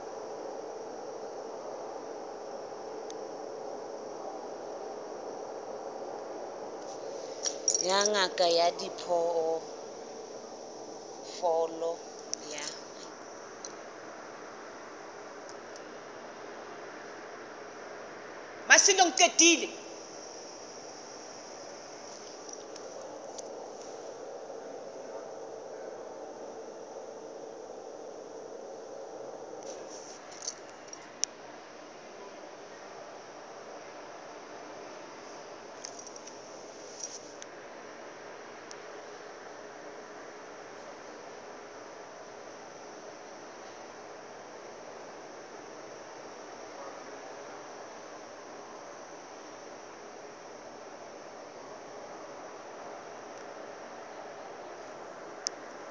ya ngaka ya diphoofolo ya